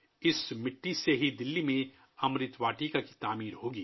دلّی میں اسی مٹی سے امرت واٹیکا کی تعمیر ہوگی